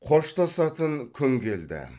қоштасатын күн келді